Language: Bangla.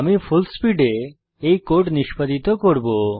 আমি ফুলস্পিড এ এই কোড নিষ্পাদিত করব